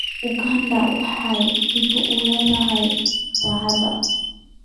Uganda waxay hibo u leedahay dabeecadda.